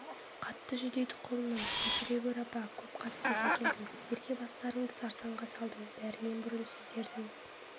қатты жүдедік құлыным кешіре гөр апа көп қасырет әкелдім сіздерге бастарыңды сарсаңға салдым бәрінен бұрын сіздердің